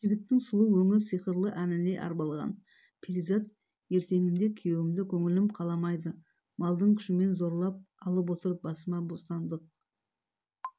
жігіттің сұлу өңі сиқырлы әніне арбалған перизат ертеңінде күйеуімді көңілім қаламайды малдың күшімен зорлап алып отыр басыма бостандық